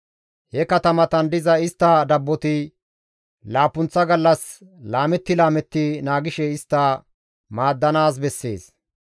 He katamatan diza istta dabboti laappunththa gallas laametti laametti naagishe istta maaddanaas bessees.